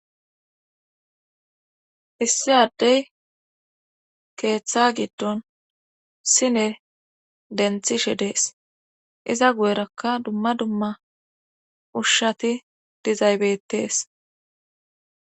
issi addey keeththa giddon sine denthishe dees iza gu7erakka dumma dumma ushshati dizaybettees